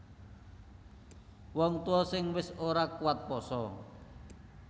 Wong tuwa sing wis ora kuwat pasa